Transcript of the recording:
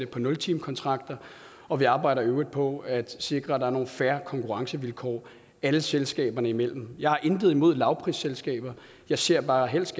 på nultimekontrakter og vi arbejder i øvrigt på at sikre at der er nogle fair konkurrencevilkår alle selskaberne imellem jeg har intet imod lavprisselskaber jeg ser bare helst